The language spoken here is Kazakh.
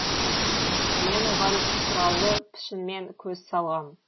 мен оған сұраулы пішінмен көз салғам